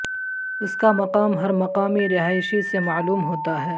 اس کا مقام ہر مقامی رہائشی سے معلوم ہوتا ہے